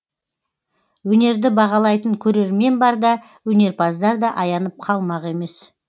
өнерді бағалайтын көрермен барда өнерпаздар да аянып қалмақ емес